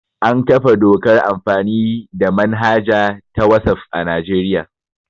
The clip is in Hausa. An kafa dokar amfani the manhaja ta wasaf a Najeriya